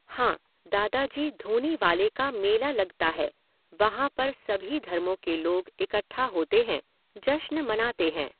हाँ, दादाजी धूनीवाले का मेला लगता है, वहाँ पर सभी धर्मों के लोग इकठ्ठा होते हैं, जश्न मनाते हैं।